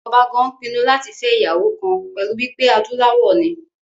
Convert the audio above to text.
Ọba gan pinnu láti fẹ́ ìyàwó kan pẹ̀lú wípé adúláwọ̀ ni